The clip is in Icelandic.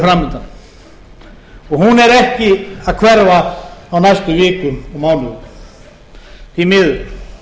og hún er ekki að hverfa á næstu vikum og mánuðum því miður ábyrgð okkar